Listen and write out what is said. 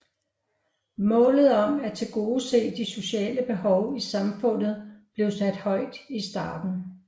Målet om at tilgodese de sociale behov i samfundet blev sat højt i starten